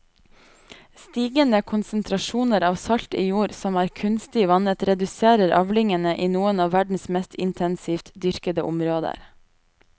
Stigende konsentrasjoner av salt i jord som er kunstig vannet reduserer avlingene i noen av verdens mest intensivt dyrkede områder.